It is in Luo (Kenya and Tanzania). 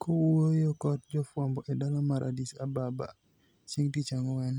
Kowuoyo kod jofwambo e dala mar Addis Ababa chieng' Tich Ang'wen,